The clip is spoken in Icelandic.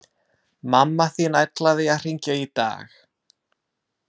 Mamma þín ætlaði að hringja í dag